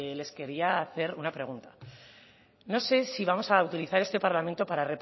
les querría hacer una pregunta no sé si vamos a utilizar este parlamento para